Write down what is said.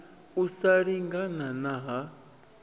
u sa lingana na ha